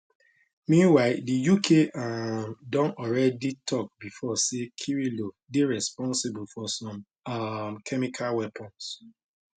meanwhile di uk um don alreadi tok bifor say kirilov dey responsible for some um chemical weapons